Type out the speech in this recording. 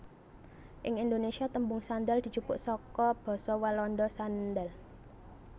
Ing Indonésia tembung sandal dijupuk saka basa Walanda sandaal